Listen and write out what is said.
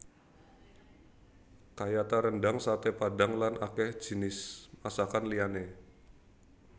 Kayata rendhang saté padhang lan akèh jinis masakan liyané